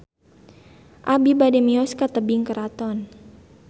Abi bade mios ka Tebing Keraton